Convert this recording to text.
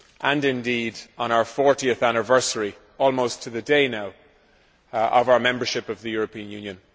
and indeed on the 40 anniversary, almost to the day now, of our membership of the European Union.